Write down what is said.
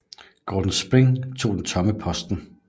Gordon Sprigg tog den tomme posten